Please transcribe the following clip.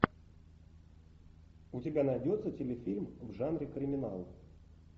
у тебя найдется телефильм в жанре криминал